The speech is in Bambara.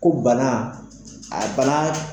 Ko bana a